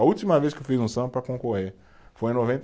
A última vez que eu fiz um samba para concorrer foi em noventa